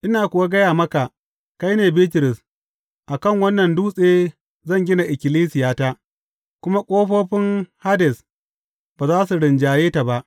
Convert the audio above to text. Ina kuwa gaya maka, kai ne Bitrus, a kan wannan dutse zan gina ikkilisiyata, kuma ƙofofin Hades ba za su rinjaye ta ba.